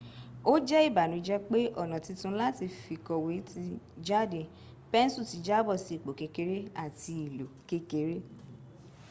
o je ibanuje pe ona titun lati fikowe ti jade pensu ti jabo si ipo kekere ati ilo kekere